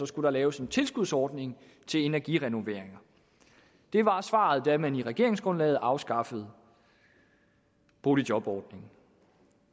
skulle laves en tilskudsordning til energirenoveringer det var svaret da man i regeringsgrundlaget afskaffede boligjobordningen